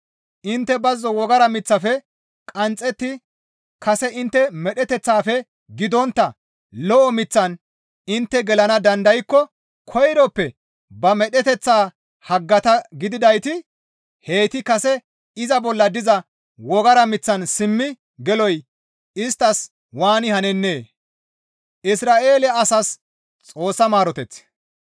Intte bazzo wogara miththafe qanxxetti kase intte medheteththafe gidontta lo7o miththan intte gelana dandaykko koyroppe ba medheteththa haggata gididayti heyti kase iza bolla diza wogara miththaan simmi geloy isttas waani hanennee? Ayfera diza Wogara mith